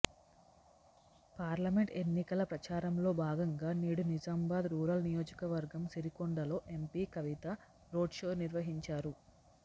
parliament ఎన్నికల ప్రచారంలో భాగంగా నేడు నిజామాబాద్ రూరల్ నియోజకవర్గం సిరికొండలో ఎంపీ కవిత రోడ్షో నిర్వహించారు